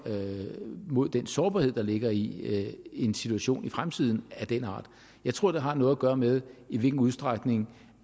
mod den sårbarhed der ligger i en situation i fremtiden jeg tror det har noget at gøre med i hvilken udstrækning